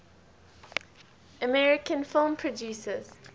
american film producers